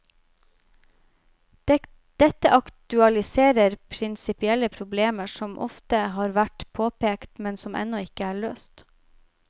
Dette aktualiserer prinsipielle problemer som ofte har vært påpekt, men som ennå ikke er løst.